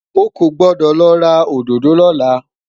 ọkọ gbọdọ lo ra òdodo lola